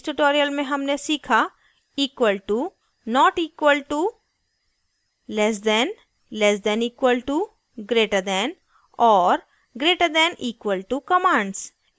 इस tutorial में हमने सीखा